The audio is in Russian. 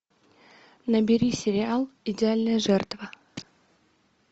набери сериал идеальная жертва